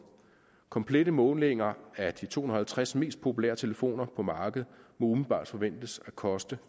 komplette målinger af de to hundrede og halvtreds mest populære telefoner på markedet må umiddelbart forventes at koste